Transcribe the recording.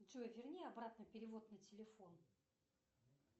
джой верни обратно перевод на телефон